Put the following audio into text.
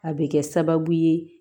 A bɛ kɛ sababu ye